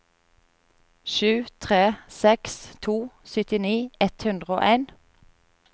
sju tre seks to syttini ett hundre og en